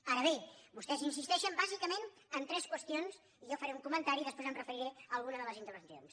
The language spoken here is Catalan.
ara bé vostès insisteixen bàsicament en tres qüestions i jo faré un comentari i després em referiré a alguna de les intervencions